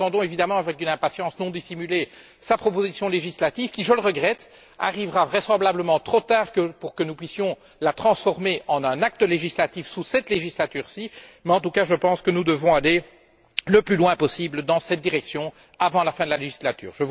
Nous attendons évidemment, avec une impatience non dissimulée, sa proposition législative, qui je le regrette arrivera vraisemblablement trop tard pour que nous puissions la transformer en un acte législatif sous cette législature ci, mais en tout cas, je pense que nous devons aller le plus loin possible dans cette direction avant la fin de la législature.